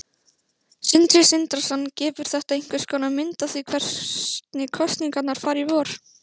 Sindri Sindrason: Gefur þetta einhverskonar mynd af því hvernig kosningarnar fara í vor?